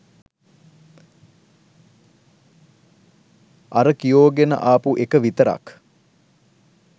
අර කියෝගෙන ආපු එක විතරක්